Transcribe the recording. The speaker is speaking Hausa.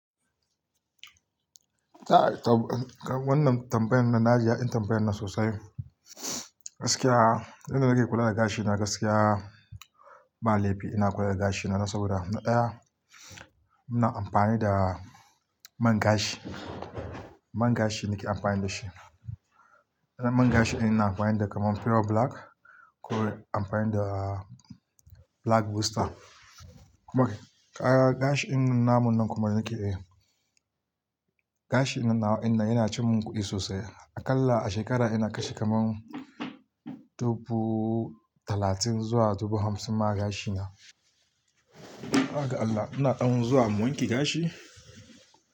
Wannan tambayar nan, na ji dadin tambaya nan sosai. Gaskiya, inda nake kula da gashina gaskiya ba laifi ina kula da gashina. Na sauda, na ɗaya, ina amfani da man gashi. Man gashi nake amfani da shi. Man gashi ina amfani da kamar Pure Black ko amfani da Black Booster. Okay, kaga gashin namun nan kuma nake yi. Gashi nan nawa, yana ci mun kuɗi sosai. Aƙalla a shekara ina kashe kamar dubu talatin zuwa dubu hamsin ma gashina. Haga Allah, ina ɗan zuwa in wanke gashi.